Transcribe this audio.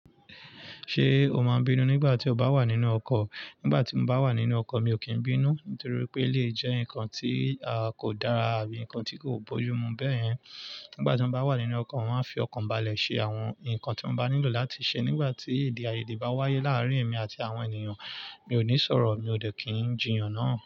Ṣé o máa bínú nígbà tí o bá wà nínú ọkọ̀? Nígbà tí mo bá wà nínú ọkọ̀, mi ò kí ń bínú, nítorí pé elèyii jẹ́ nǹkan tí kò dára àbí ǹkan tí kò bójú mu bẹ́yẹn. Nígbà tí mo bá wà nínú ọkọ̀, mọ́ maa n á fi ọkàn balẹ̀ ṣe àwọn ǹkan tí mo bá nílò láti ṣe. Nígbà tí ede aiyéde bá wáyé láárín èmi àti àwọn ènìyàn, mi ò ní sọ̀rọ̀, mi ò dẹ̀ kí ń jiyàn náà.